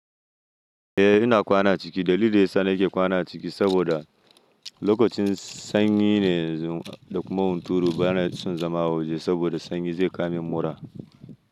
Eh ina kwana ciki. Dalilin da ya sa na ke kwana ciki saboda lokacin sanyi ne da kuma hunturu bana son zama waje saboda sanyi zai kama mun mura.